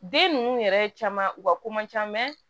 Den ninnu yɛrɛ caman u ka ko man ca